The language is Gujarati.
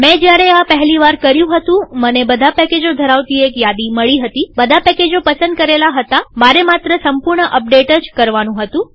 મેં જ્યારે આ પહેલી વાર કર્યું હતુંમને બધા પેકેજો ધરાવતી એક યાદી મળી હતીબધા પેકેજો પસંદ કરલા હતામારે માત્ર સંપૂર્ણ અપડેટ જ કરવાનું હતું